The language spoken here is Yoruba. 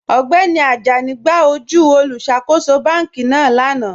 Ọgbẹ́ni Àjánì gbà ojú olùṣákòsò bánkì náà lánà.